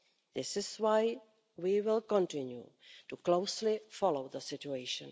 This is why we will continue to closely follow the situation.